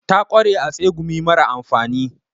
Ta kware a tsegumi mara amfani.